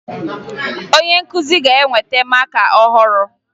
Onye nkụzi ga-eweta maka ọhụrụ